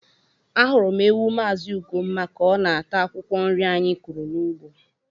Ahụrụ m ewu Mazị Ugomma ka ọ na-ata akwụkwọ nri anyị kụrụ n’ugbo.